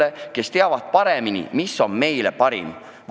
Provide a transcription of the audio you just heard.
Need ametnikud justkui teavad paremini, mis on meile parim.